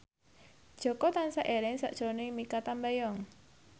Jaka tansah eling sakjroning Mikha Tambayong